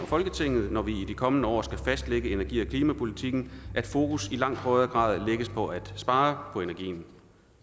folketinget når vi i de kommende år skal fastlægge energi og klimapolitikken at fokus i langt højere grad lægges på at spare på energien